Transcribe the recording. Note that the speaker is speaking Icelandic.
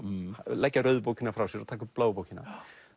leggja rauðu bókina frá sér og taka upp bláu bókina